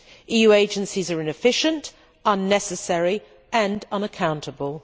EU agencies are inefficient, unnecessary and unaccountable.